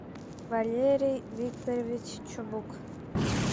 валерий викторович чубук